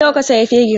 Nawa ka sayi fegin?